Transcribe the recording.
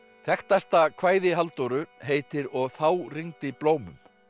þekktasta kvæði Halldóru heitir og þá rigndi blómum